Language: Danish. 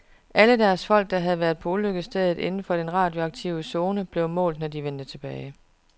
Alle deres folk, der havde været på ulykkesstedet inden for den radioaktive zone, blev målt, når de vendte tilbage.